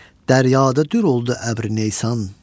Dəryada dür oldu əbri neysan.